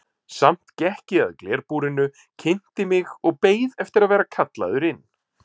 Samt gekk ég að glerbúrinu, kynnti mig og beið eftir að vera kallaður inn.